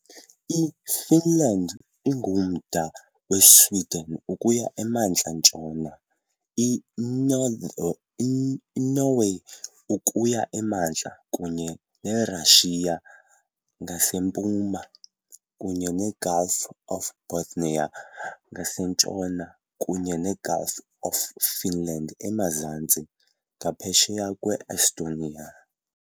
IFinland ingumda weSweden ukuya emantla-ntshona, inorth iNorway ukuya emantla, kunye neRashiya ngasempuma, kunye neGulf of Bothnia ngasentshona kunye neGulf of Finland emazantsi, ngaphesheya kwe-Estonia.